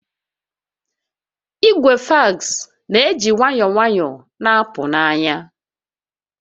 Igwe fax na-eji nwayọọ nwayọọ na-apụ n'anya